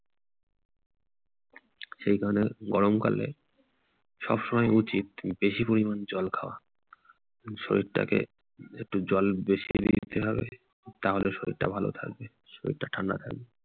সেইজন্যে গরমকালে সবসময় উচিত বেশি পরিমাণে জল খাওয়া। শরীরটাকে একটু জল বেশি দিতে হবে তাহলে শরীরটা ভালো থাকবে। শরীরটা ঠান্ডা থাকবে।